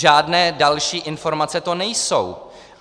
Žádné další informace to nejsou.